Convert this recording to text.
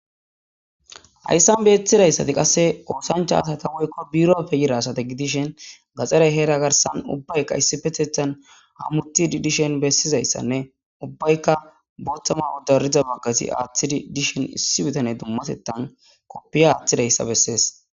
hayssan beetidayssati qasse oosancha asata woykko birppe yira asata gidishen gaxxaray heera garsan ubbayka issippetethan hamuti dishen bessizayssanne ubbayka booththanne dariza baggazi aaththidi dishen issi bitane dummatettan koppiya aaththidayssa bessees